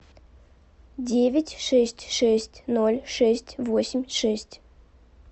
девять шесть шесть ноль шесть восемь шесть